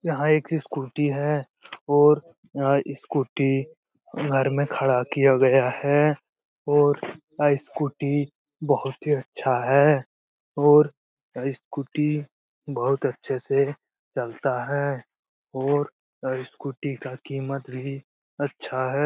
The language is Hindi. यहाँ एक ई स्कूटी है और या स्कूटी घर में खड़ा किया गया है और ए स्कूटी बहुत ही अच्छा है और ए स्कूटी बहुत अच्छे से चलता है और यह स्कूटी का कीमत भी अच्छा है।